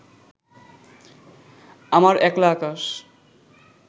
আমার একলা আকাশ